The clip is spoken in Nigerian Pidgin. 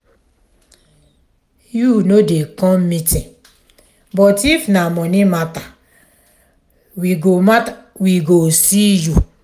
you no dey come meeting but if na money matter we go matter we go see you.